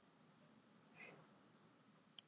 Vill gera breytingar á barnaverndarlögum